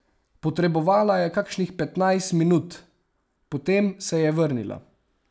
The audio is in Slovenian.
Potrebovala je kakšnih petnajst minut, potem se je vrnila.